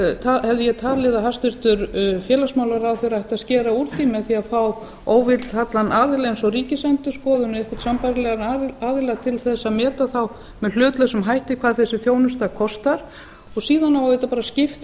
þá hef ég talið að hæstvirtur félagsmálaráðherra ætti að skera úr því með því að fá óvilhallan aðila eins og ríkisendurskoðun eða einhvern sambærilegan aðila til þess að meta með hlutlausum hætti hvað þessi þjónusta kostar og síðan á auðvitað bara að skipta